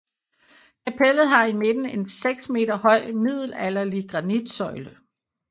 Kapellet har i midten en 6 m høj middelalderlig granitsøjle